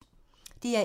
DR1